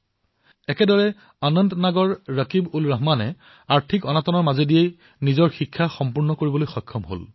ঠিক সেইদৰে অনন্তনাগৰ ৰকিবউলৰহমানে আৰ্থিক সমস্যাৰ বাবে নিজৰ অধ্যয়ন সমাপ্ত কৰিব পৰা নাছিল